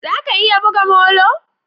Za ka iya buga molo?